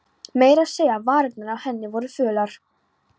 Meira að segja varirnar á henni voru fölar.